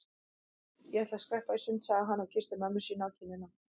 Ég ætla að skreppa í sund sagði hann og kyssti mömmu sína á kinnina.